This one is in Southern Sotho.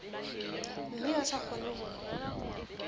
mme ba sa kgone ho